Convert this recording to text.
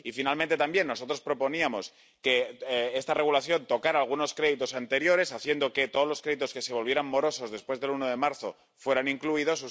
Y, finalmente, también nosotros proponíamos que este Reglamento tocara algunos créditos anteriores haciendo que todos los créditos que se volvieran morosos después del 1 de marzo fueran incluidos.